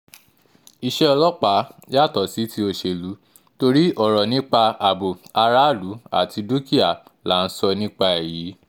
iṣẹ́ ọlọ́pàá yàtọ̀ sí ti òṣèlú torí ọ̀rọ̀ nípa ààbò aráàlú àti dúkìá là ń sọ nípa ẹ̀ yìí